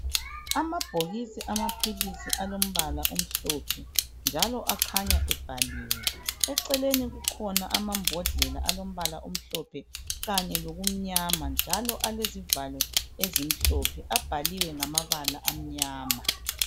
Amabhokisi amaphilisi alombala omhlophe njalo akhanya ebhaliwe eceleni kukhona amambodlela alombala omhlophe kanye lokumnyama njalo alezivalo ezimhlophe abhaliwe ngamabala amnyama.